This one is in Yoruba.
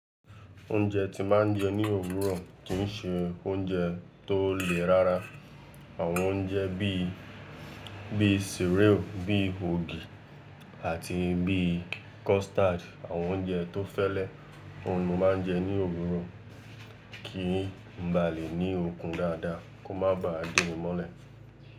Oúnjẹ tí ma ń jẹ ní òwúrọ̀ kì ń ṣe oúnjẹ tó le rárá. Àwọn oúnjẹ bí, bí cereal, bí ògì àti bí custard. Àwọn oúnjẹ tó fẹ́lẹ́, òun ni mo máa ń jẹ ní òwúrọ̀ kí n ba lè ní okun dáadáa, kó má ba à gbé mi mọ́lẹ̀.